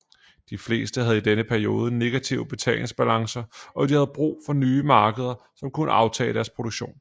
De fleste havde i denne periode negative betalingsbalancer og de havde brug for nye markeder som kunne aftage deres produktion